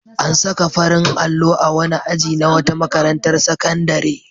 An saka farin allo a wani aji na wata makarantar sakandare.